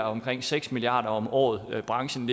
omkring seks milliard kroner om året for branchen